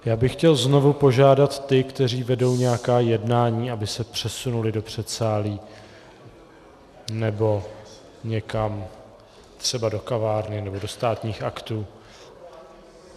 Já bych chtěl znovu požádat ty, kteří vedou nějaká jednání, aby se přesunuli do předsálí nebo někam, třeba do kavárny nebo do Státních aktů.